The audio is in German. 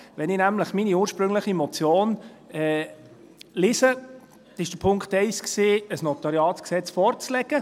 Wenn ich nämlich meine ursprüngliche Motion lese, war Punkt 1, ein Notariatsgesetz (NG) vorzulegen.